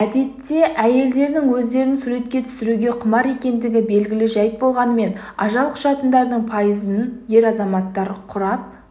әдетте әйелдердің өздерін суретке түсіруге құмар екендігі белгілі жәйт болғанымен ажал құшқандардың пайызын ер азаматтар құрап